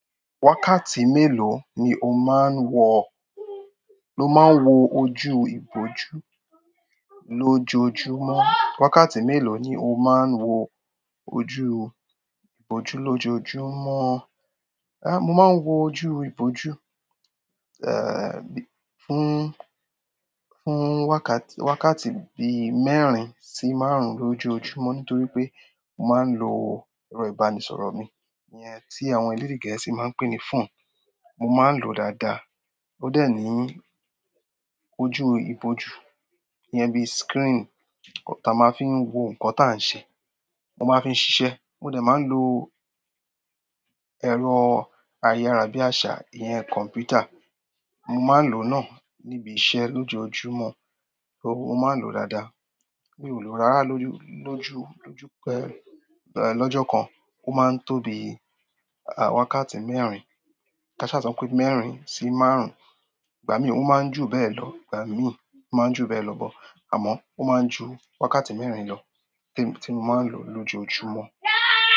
Wákàtí mélòó ni o máa ń wọ, lo máa ń wo ojú ìbòju lójoojúmọ́? Wákàtí mélòó ni o máa ń wo ojú ìbòju lójoojúmọ́? Mo máa ń wo ojú ìbòju, fún, fún wákàt-wákàtí bi mẹ́rin sí márùn-ún lójoojúmọ́ nítorí pé mo máa ń lo ẹrọ ìbánisọ̀rọ̀ mi iyẹn tí àwọn elédè gẹ̀ẹ́sì máa ń pè ní phone. Mo máa ń lòó dáadáa. Ó dẹ̀ ní ojú ìbòju iyẹn bi screen táa máa ń fi wo nǹkan táa ń ṣe. Mo máa ń fi ṣiṣẹ́. Mo dẹ̀ máa ń lo ẹrọ ayárabíàṣá, ìyẹn kọ̀m̀pútà. Mo máa ń lòó náà níbi iṣẹ́ lójoojúmọ́. So, mo máa ń lòó dáadáa. Mi ò lò rárá lójú-lójú pé, lọ́jọ́ kan. Ó máa ń tó bí i, wákàtí mẹ́rin, káṣá, ṣa, pé mẹ́rin sí márùn-ún. Ìgbà mí ò máa ń ju bẹ́ẹ̀ lọ, ìgbà mí ò máa ń ju bẹ́ẹ̀ lọ but. Àmọ́, ó máa ń ju wákàtí mẹ́rin lọ temi, tí mo máa ń lò lójoojúmọ́.